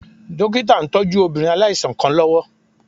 Dókítà ń tọ́jú obìnrin aláìsàn kan lọ́wọ́